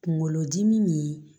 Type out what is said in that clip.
Kunkolodimi nin